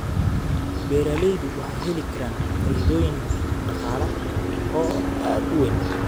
Beeraleydu waxay heli karaan faa'iidooyin dhaqaale oo aad u weyn.